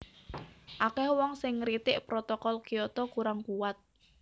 Akèh wong sing ngritik Protokol Kyoto kurang kuwat